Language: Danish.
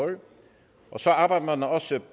og så arbejder man også